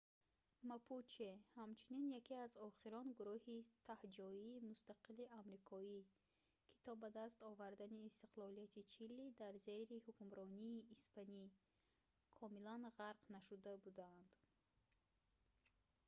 мапуче ҳамчунин яке аз охирон гуруҳи таҳҷоии мустақили амрикоӣ ки то ба даст овардани истиқлолияти чили дар зери ҳукмронии испанӣ комилан ғарқ нашуда буданд